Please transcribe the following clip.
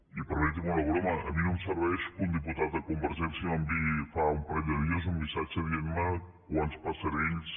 i permetin me una broma a mi no em serveix que un diputat de convergència m’enviï fa un parell de dies un missatge dient me quants passerells